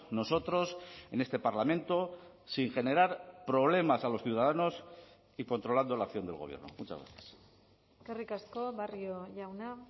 nosotros en este parlamento sin generar problemas a los ciudadanos y controlando la acción del gobierno muchas gracias eskerrik asko barrio jauna